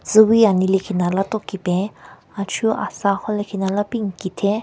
Tsüwi ani lekhinala tonki pen achu asa khon lekhinala pi nki theng.